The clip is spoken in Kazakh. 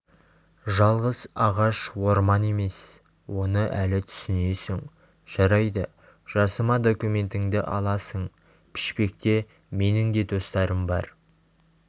жалғыз ағаш орман емес оны әлі түсінесің жарайды жасыма документіңді аласың пішпекте менің де достарым бар